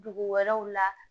Dugu wɛrɛw la